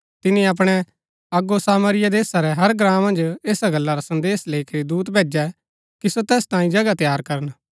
तिनी अपणै अगो सामरिया देशा रै हर ग्राँ मन्ज ऐसा गल्ला रा संदेसा लैई करी दूत भैजै कि सो तैस तांयें जगह तैयार करन